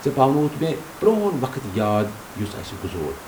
ژےٚ پاونووُتھ مےٚ پرٚون وقت یاد یُس اَسہِ گُزور ۔